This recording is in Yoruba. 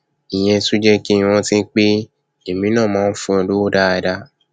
ìyẹn tún jẹ kí n rántí pé èmi náà máa fún un lówó dáadáa